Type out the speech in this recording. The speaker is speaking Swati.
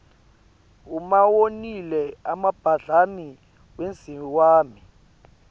uma wonile abadlali wenziwani